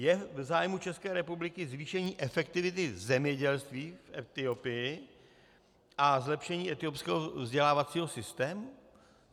Je v zájmu České republiky zvýšení efektivity zemědělství v Etiopii a zlepšení etiopského vzdělávacího systému?